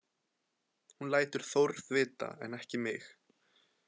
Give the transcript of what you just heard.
Hún lætur Þórð vita en ekki mig.